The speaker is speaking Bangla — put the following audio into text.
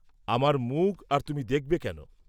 আমার মুখ আর তুমি দেখবে কেন?